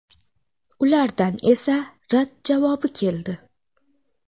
Ulardan esa rad javobi keldi.